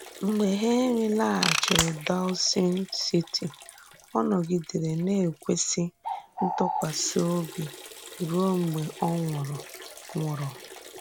Mgbe Henry làghàchìrì Dawson City, ò nọ̀gìdèrè na-ekwèsì ntùkwàsì òbì ruo mgbe ò nwùrù. nwùrù.